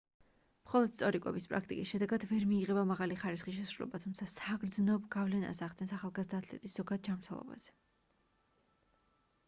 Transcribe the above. მხოლოდ სწორი კვების პრაქტიკის შედეგად ვერ მიიღება მაღალი ხარისხის შესრულება თუმცა საგრძნობ გავლენას ახდენს ახალგაზრდა ათლეტის ზოგად ჯანმრთელობაზე